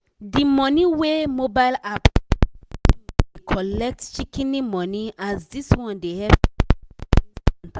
di money wey mobile app wey bank do dey collect shikin money as dis one dey help send money instanta.